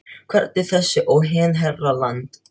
Hvernig þessi og hinn herra Land